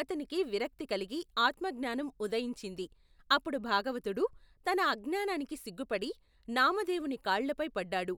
అతనికి విరక్తి కలిగి ఆత్మఙ్ఞానం ఉదయించింది అప్పుడు భాగవతుడు తన అజ్ఞానానికి సిగ్గుపడి నామదేవుని కాళ్లపై పడ్డాడు.